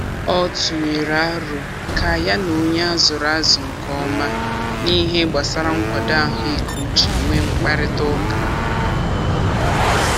Ọ tụnyere arọ ka ya na onye a zụrụ azụ nke ọma n'ihe gbasara nkwado ahụikeuche nwee mkparịtaụka.